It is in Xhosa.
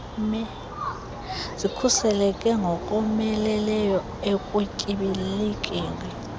zikhuseleke ngokomeleleyo ekutyibilikeni